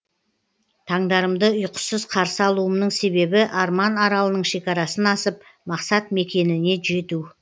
таңдарымды ұйқысыз қарсы алуымның себебі арман аралының шекарасынан асып мақсат мекеніне жету